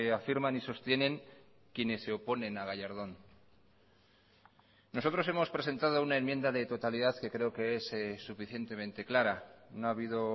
afirman y sostienen quienes se oponen a gallardón nosotros hemos presentado una enmienda de totalidad que creo que es suficientemente clara no ha habido